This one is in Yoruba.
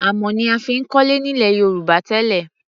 Amọ̀ ni a fi ń kọ́lé nílẹ̀ Yorùbá tẹ́lẹ̀.